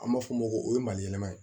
An b'a fɔ o ma ko o ye maliyɛnma ye